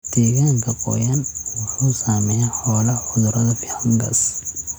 Deegaanka qoyan wuxuu saameeyaa xoolaha cudurada fangas.